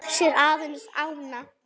Sér aðeins ána.